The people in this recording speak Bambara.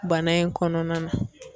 Bana in kɔnɔna na.